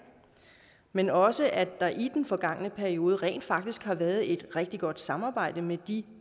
men også at der i den forgangne periode rent faktisk har været et rigtig godt samarbejde med de